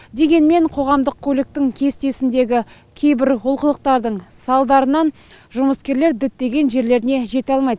дегенмен қоғамдық көліктің кестесіндегі кейбір олқылықтардың салдарынан жұмыскерлер діттеген жерлеріне жете алмайды